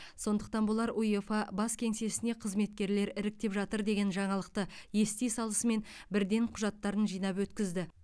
сондықтан болар уефа бас кеңсесіне қызметкерлер іріктеп жатыр деген жаңалықты ести салысымен бірден құжаттарын жинап өткізді